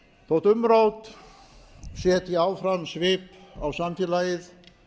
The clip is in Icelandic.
þótt umrót setji áfram svip á samfélagið